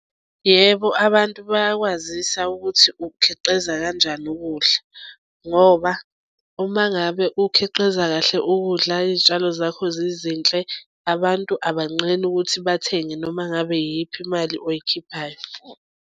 Yebo, abantu bayakwazisa ukuthi ukhiqiza kanjani ukudla ngoba uma ngabe ukhiqiza kahle ukudla izitshalo zakho zizinhle abantu abanqeni ukuthi bathenge noma ngabe iyiphi imali oyikhiphayo.